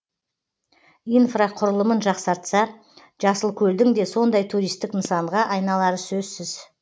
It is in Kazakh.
инфрақұрылымын жақсартса жасылкөлдің де сондай туристік нысанға айналары сөзсіз